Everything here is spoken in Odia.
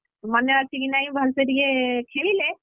ମନେ ଅଛି କି ନାହିଁ ଭଲସେ ଟିକେ ଖେଳିଲେ,